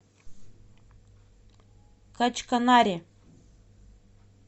качканаре